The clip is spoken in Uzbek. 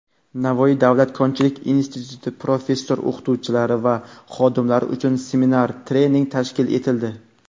Navoiy davlat konchilik instituti professor-o‘qituvchilari va xodimlari uchun seminar-treninglar tashkil etildi.